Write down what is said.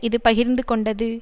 இது பகிர்ந்து கொண்டது